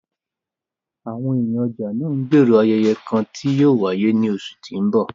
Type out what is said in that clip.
Awọn eniyan ọja naa ńgbero ayẹyẹ kan ti yóò waye ni oṣu ti n bọ